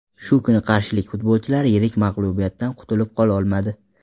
Shu kuni qarshilik futbolchilar yirik mag‘lubiyatdan qutilib qololmadi.